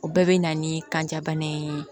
O bɛɛ bɛ na ni kanjabana in ye